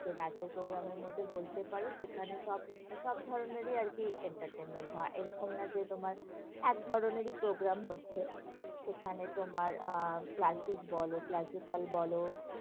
সে নাচের programme এর মধ্যে বলতে পারো, সেখানে সব সব ধরণেরই আরকি entertainment হয়, এরকম নয় যে তোমার এক ধরণেরই programme হচ্ছে, সেখানে তোমার আহ classic বলো, classical বলো,